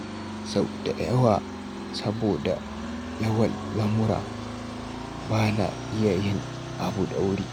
Sau da yawa saboda yawan lamura, ba na iya yin abu da wuri.